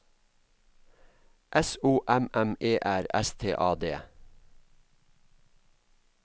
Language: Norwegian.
S O M M E R S T A D